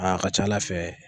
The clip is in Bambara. a ka ca ALA fɛ.